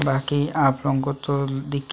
बाकी आप लोगो को तो दिख--